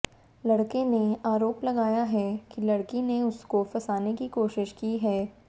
लड़के ने आरोप लगाया है कि लड़की ने उसको फ़साने की कोशिश की है